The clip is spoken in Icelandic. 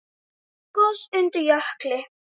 Gos undir jökli